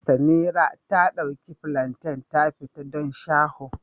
Samira ta ɗauki plantain ta fita don shaho